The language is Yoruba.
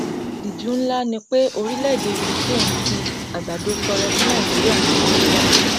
ìtìjú ńlá ni pé orílẹèdè ukraine fi àgbàdo tọrẹ fún nàìjíríà nítorí ebi